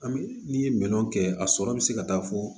An bɛ n'i ye minɛnw kɛ a sɔrɔ bɛ se ka taa fɔ